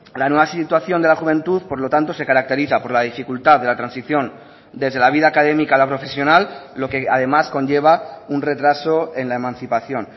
la nueva situación de la juventud por lo tanto se caracteriza por la dificultad de la transición desde la vida académica a la profesional lo que además conlleva un retraso en la emancipación